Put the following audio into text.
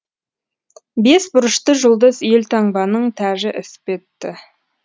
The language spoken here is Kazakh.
бес бұрышты жұлдыз елтаңбаның тәжі іспетті